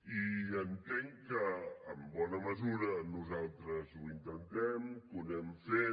i entenc que en bona mesura nosaltres ho intentem que ho anem fent